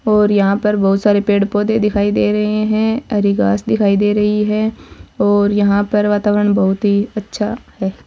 और यहां पर बहुत सारे पेड़ पौधे दिखाई दे रहे हैं हरी घास दिखाई दे रही है और यहां पर वातावरण बहुत ही अच्छा है।